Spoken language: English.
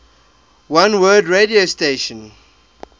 oneword radio station